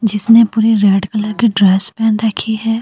जिसने पूरी red colour की ड्रेस पहन रखी है।